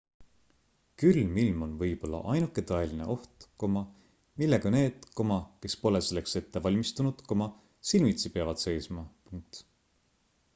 külm ilm on võib-olla ainuke tõeline oht millega need kes pole selleks ette valmistunud silmitsi peavad seisma